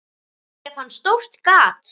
Ég fann stórt gat.